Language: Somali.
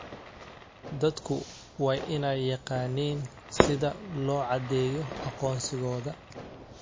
Dadku waa inay yaqaaniin sida loo caddeeyo aqoonsigooda.